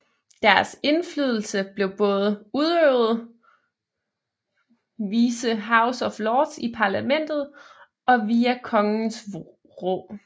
Deres indflydelse blev både udøvet vise House of Lords i parlamentet og via kongens rå